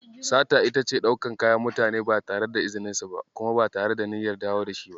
Sata ita ce ɗaukan kayan mutane ba tare da izininsu ba kuma ba tare da niyyar dawo da shi ba.